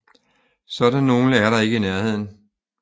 Sådan nogle der ikke vil nærheden